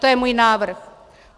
To je můj návrh.